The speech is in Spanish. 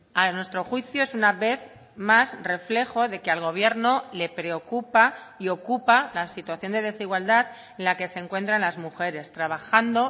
a nuestro juicio es una vez más reflejo de que al gobierno le preocupa y ocupa la situación de desigualdad en la que se encuentran las mujeres trabajando